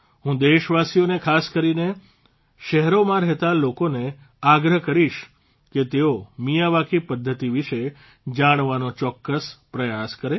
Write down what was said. હું દેશવાસીઓને ખાસ કરીને શહેરોમાં રહેતા લોકોને આગ્રહ કરીશ કે તેઓ મિયાવાકી પદ્ધતિ વિશે જાણવાનો ચોક્કસ પ્રયાસ કરે